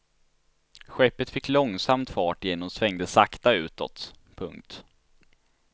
Skeppet fick långsamt fart igen och svängde sakta utåt. punkt